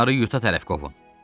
onları yuta tərəf qovun.